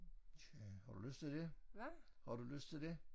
Tja har du lyst til det? Har du lyst til det?